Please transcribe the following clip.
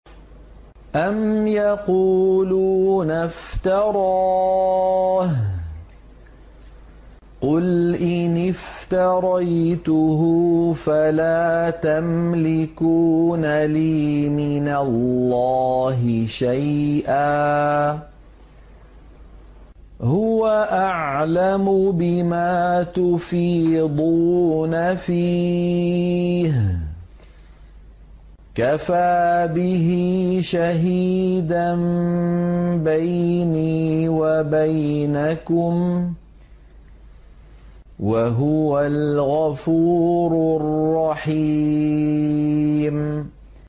أَمْ يَقُولُونَ افْتَرَاهُ ۖ قُلْ إِنِ افْتَرَيْتُهُ فَلَا تَمْلِكُونَ لِي مِنَ اللَّهِ شَيْئًا ۖ هُوَ أَعْلَمُ بِمَا تُفِيضُونَ فِيهِ ۖ كَفَىٰ بِهِ شَهِيدًا بَيْنِي وَبَيْنَكُمْ ۖ وَهُوَ الْغَفُورُ الرَّحِيمُ